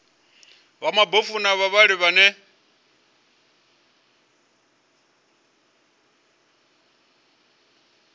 vha mabofu na vhavhali vhane